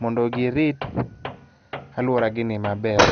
mondo girit alworagini maber.